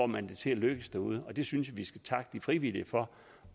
man det til at lykkes derude og det synes jeg vi skal takke de frivillige for